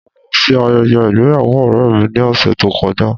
Mo lọ sí ayẹyẹ ìgbéyàwó ọ̀rẹ́ mi ní ọ̀sẹ̀ tó kọjá.